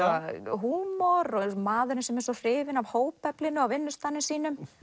húmor eins og maðurinn sem er svo hrifinn af hópeflinu á vinnustaðnum sínum